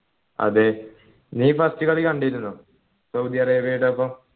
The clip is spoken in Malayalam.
അതെ നീ first കളി കണ്ടിരുന്നോ സൗദി അറേബ്യയോടൊപ്പം